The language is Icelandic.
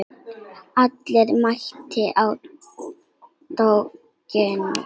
Allir mæta á Torginu